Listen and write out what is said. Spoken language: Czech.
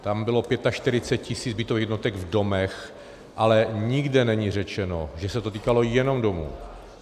Tam bylo 45 tisíc bytových jednotek v domech, ale nikde není řečeno, že se to týkalo jenom domů.